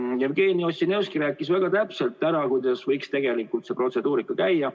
Jevgeni Ossinovski rääkis väga täpselt ära, kuidas võiks tegelikult see protseduurika käia.